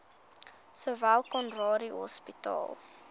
sowel conradie hospitaal